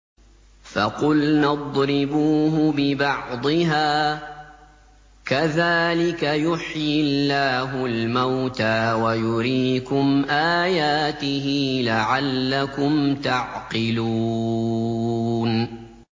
فَقُلْنَا اضْرِبُوهُ بِبَعْضِهَا ۚ كَذَٰلِكَ يُحْيِي اللَّهُ الْمَوْتَىٰ وَيُرِيكُمْ آيَاتِهِ لَعَلَّكُمْ تَعْقِلُونَ